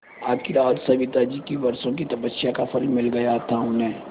आखिर आज सविताजी की वर्षों की तपस्या का फल मिल गया था उन्हें